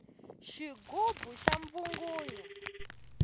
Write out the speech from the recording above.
xigubu xa mbvungunya